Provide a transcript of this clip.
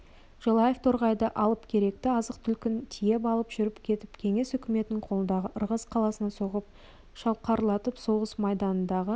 желаев торғайды алып керекті азық-түлігін тиеп алып жүріп кетіп кеңес үкіметінің қолындағы ырғыз қаласына соғып шалқарлатып соғыс майданындағы